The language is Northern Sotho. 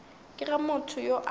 ke ge motho yo a